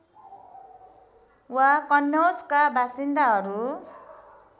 वा कन्नौजका बासिन्दाहरू